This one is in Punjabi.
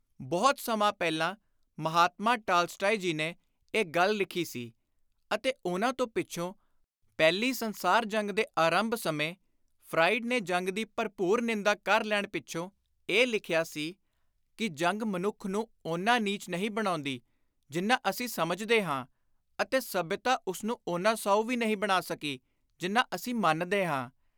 ਬਹੁਤ ਸਮਾਂ ਪਹਿਲਾਂ ਮਹਾਤਮਾ ਟਾਲਸਟਾਏ ਜੀ ਨੇ ਇਹ ਗੱਲ ਲਿਖੀ ਸੀ ਅਤੇ ਉਨ੍ਹਾਂ ਤੋਂ ਪਿੱਛੋਂ ਪਹਿਲੀ ਸੰਸਾਰ ਜੰਗ ਦੇ ਆਰੰਭ ਸਮੇਂ ਫਰਾਇਡ ਨੇ ਜੰਗ ਦੀ ਭਰਪੁਰ ਨਿੰਦਾ ਕਰ ਲੈਣ ਪਿੱਛੋਂ ਇਹ ਲਿਖਿਆ ਸੀ ਕਿ, “ਜੰਗ ਮਨੁੱਖ ਨੂੰ ਓਨਾ ਨੀਚ ਨਹੀਂ ਬਣਾਉਂਦੀ ਜਿੰਨਾ ਅਸੀਂ ਸਮਝਦੇ ਹਾਂ ਅਤੇ ਸੱਭਿਅਤਾ ਉਸਨੂੰ ਓਨਾ ਸਾਉ ਵੀ ਨਹੀਂ ਬਣਾ ਸਕੀ ਜਿੰਨਾ ਅਸੀਂ ਮੰਨਦੇ ਹਾਂ।’’